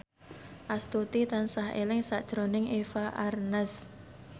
Astuti tansah eling sakjroning Eva Arnaz